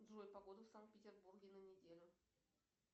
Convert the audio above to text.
джой погода в санкт петербурге на неделю